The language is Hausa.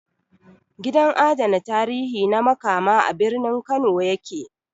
Gidan adana tarihi na Makama, a birnin Kano ya ke